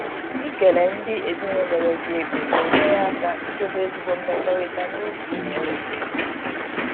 Ikele ndị ezinụlọ nyere gi ego na-enyere aka idobe ezigbo mmekọrịta n’oge ị na-enweta ego.